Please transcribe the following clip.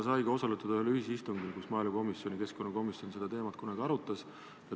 Sai ka osaletud ühel ühisistungil, kus maaelukomisjon ja keskkonnakomisjon seda teemat kunagi arutasid.